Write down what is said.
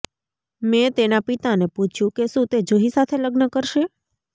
મેં તેના પિતાને પૂછ્યું કે શું તે જુહી સાથે લગ્ન કરશે